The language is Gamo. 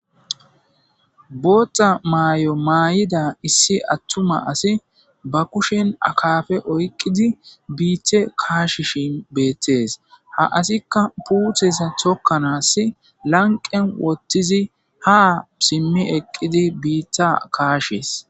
boothta maay7o maayida issi attuma asi ba kushen akafe oyqqidi biithe kaashi shin beettes ha asikka puutheza thokkanaass lanqen wottizi ha simmi eqqidi biitta kaashees